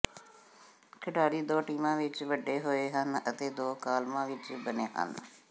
ਖਿਡਾਰੀ ਦੋ ਟੀਮਾਂ ਵਿਚ ਵੰਡੇ ਹੋਏ ਹਨ ਅਤੇ ਦੋ ਕਾਲਮਾਂ ਵਿਚ ਬਣੇ ਹਨ